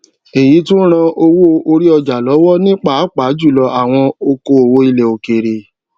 èyí tún ran owó orí ọjà lówó ní pàápàá jùlọ àwọn okoòwò ilè òkèrè